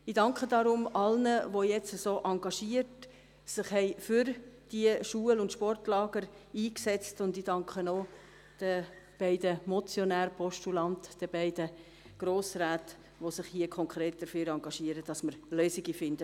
Ich danke deswegen allen, die sich so engagiert für diese Schul- und Sportlager eingesetzt haben, und ich danke auch den beiden Motionären, Postulanten, den beiden Grossräten, die sich konkret dafür engagieren, dass wir Lösungen dafür finden.